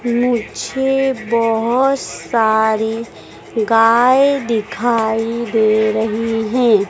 मुझे बहुत सारी गाय दिखाई दे रही हैं।